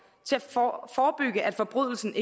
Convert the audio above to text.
til at forebygge at forbrydelsen